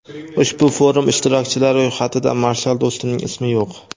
ushbu forum ishtirokchilari ro‘yxatida Marshal Do‘stumning ismi yo‘q.